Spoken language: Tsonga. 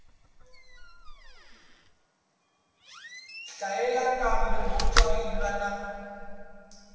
hlayeka kambe ku katsiwile na